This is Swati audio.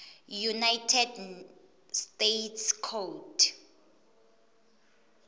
united states code